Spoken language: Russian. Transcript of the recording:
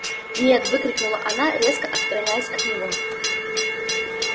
нет выкрикнула она резко отстраняясь от него